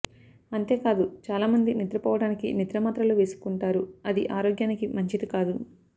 అంతే కాదు చాలా మంది నిద్రపోవడానికి నిద్రమాత్రలు వేసుకుంటారు అది ఆరోగ్యానికి మంచిది కాదు